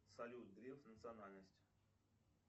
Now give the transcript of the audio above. салют греф национальность